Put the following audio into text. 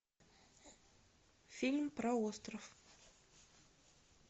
фильм про остров